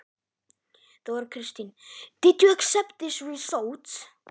Þóra Kristín: Áttir þú von á þessari niðurstöðu?